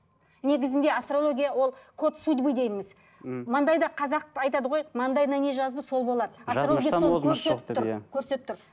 негізінде асторология ол код судьбы дейміз мхм маңдайды қазақ айтады ғой маңдайына не жазды сол болады көрсетіп тұр